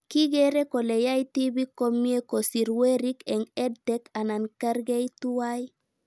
Kikere kole yae tipik komie kosir werik eng' EdTech anan karkei tuwai